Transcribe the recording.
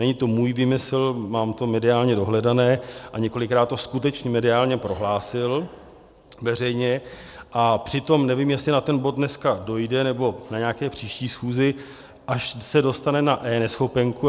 Není to můj výmysl, mám to mediálně dohledané a několikrát to skutečně mediálně prohlásil veřejně, a přitom nevím, jestli na ten bod dneska dojde, nebo na nějaké příští schůzi, až se dostane na eNeschopenku.